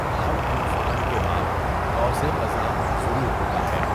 ہر طوفان کے بعد ، قوس قزح ضرور ہوتا ہے!